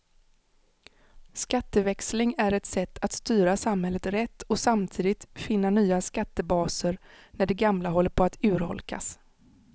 Skatteväxling är ett sätt att styra samhället rätt och samtidigt finna nya skattebaser när de gamla håller på att urholkas.